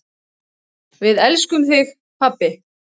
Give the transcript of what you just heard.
Við elskum þig, pabbi.